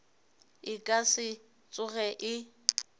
e ka se tsoge e